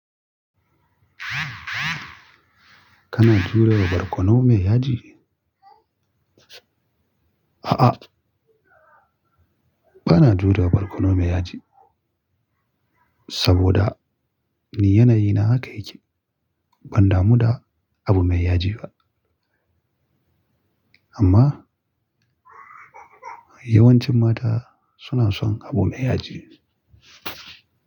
Kana jure barkono mai yaji? A'a, bana jurewa barkono mai yaji. Saboda, ni yanayi na haka yake. Ban damu da abu mai yaji ba. Amma yawancin mata suna son abu da yaji.